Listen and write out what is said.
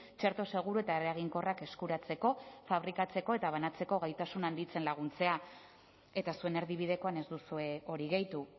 txerto seguru eta eraginkorrak eskuratzeko fabrikatzeko eta banatzeko gaitasun handitzen laguntzea eta zuen erdibidekoan ez duzue hori gehitu